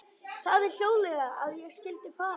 Sagði hljóðlega að ég skyldi fara.